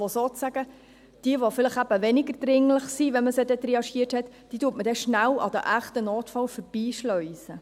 Jene, die weniger dringlich sind, wenn man sie triagiert hat, schleust man dann schnell an den echten Notfällen vorbei.